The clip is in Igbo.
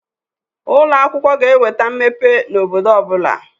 Ụloakwụkwọ ga-eweta mmepe n'obodo ọbụna.